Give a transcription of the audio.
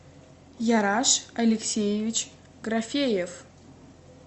яраш алексеевич графеев